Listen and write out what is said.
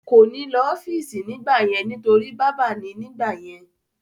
Kò ní lò ọ́fìsì nígbà yẹn nítorí bábà ni nígbà yẹn